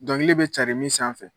Dɔnkili bɛ carin min sanfɛ